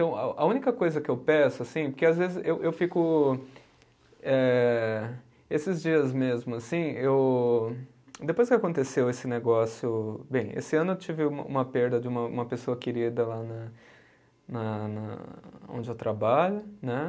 Então, a a única coisa que eu peço, assim, porque às vezes eu eu fico, eh, esses dias mesmo, assim, eu, depois que aconteceu esse negócio. Bem, esse ano eu tive uma uma perda de uma, uma pessoa querida lá na na na, onde eu trabalho, né?